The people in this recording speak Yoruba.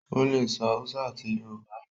o lẹ sọ Hausa àti Yorùbá.